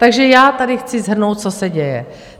Takže já tady chci shrnout, co se děje.